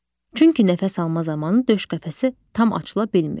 Çünki nəfəs alma zamanı döş qəfəsi tam açıla bilmir.